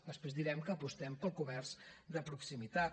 després direm que apostem pel comerç de proximitat